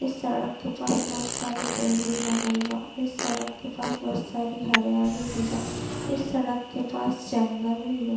इस सड़क के पास बहोत सारा पेड़ भी लगल बा इस सड़क के पास बहुत सारी हरियाली भी बा इस सड़क के पास जंगल भी बा